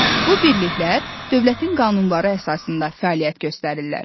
Bu birliklər dövlətin qanunları əsasında da fəaliyyət göstərirlər.